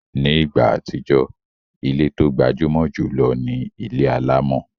Ní ìgbà àtijọ́, ilé tó gbajúmọ̀ jùlọ ni ilé alámọ̀